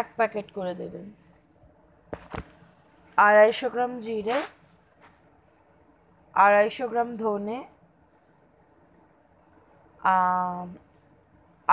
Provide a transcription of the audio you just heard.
এক packet করে দেবেন, আড়াইশো গ্রাম জিরে আড়াইশো গ্রাম ধেনো,